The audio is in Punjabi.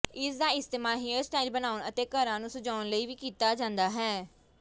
ਇਸ ਦਾ ਇਸਤੇਮਾਲ ਹੇਅਰ ਸਟਾਈਲ ਬਣਾਉਣ ਅਤੇ ਘਰਾਂ ਨੂੰ ਸਜਾਉਣ ਲਈ ਵੀ ਕੀਤਾ ਜਾਂਦਾ ਹੈ